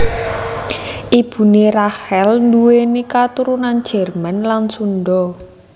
Ibuné Rachel nduwèni katurunan Jerman lan Sundha